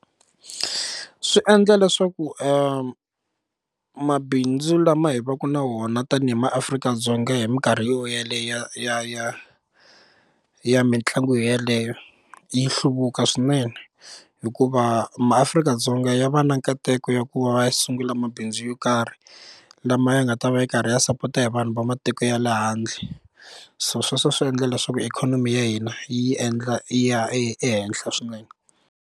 Swi endla leswaku mabindzu lama hi va ka na wona tanihi maAfrika-Dzonga hi mikarhi yo yeliya ya ya ya mitlangu yeleyo yi hluvuka swinene hikuva maAfrika-Dzonga ya va na nkateko ya ku va va sungula mabindzu yo karhi lama ya nga ta va yi karhi yi sapota hi vanhu va matiko ya le handle so sweswo swi endla leswaku ikhonomi ya hina yi endla yi ya ehenhla swinene.